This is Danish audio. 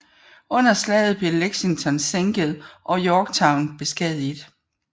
Under slaget blev Lexington sænket og Yorktown beskadiget